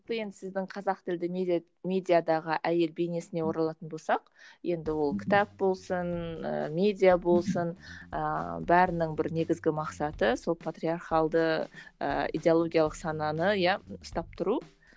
сіздің қазақ тілді медиа медиадағы әйел бейнесіне оралатын болсақ енді ол кітап болсын ііі медиа болсын ііі бәрінің бір негізгі мақсаты сол патриархалды ыыы идеологиялық сананы иә ұстап тұру